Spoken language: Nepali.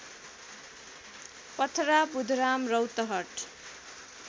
पथरा बुधराम रौतहट